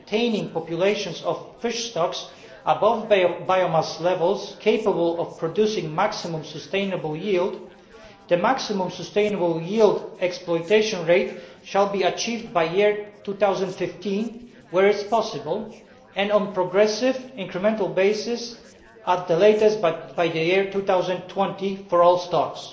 and maintaining populations of fish stocks above biomass levels capable of producing maximum sustainable yield, the maximum sustainable yield exploitation rate shall be achieved by 2015 where possible and, on a progressive, incremental basis at the latest by 2020 for all stocks.'